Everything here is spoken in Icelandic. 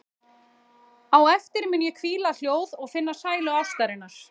Á eftir mun ég hvíla hljóð og finna sælu ástarinnar.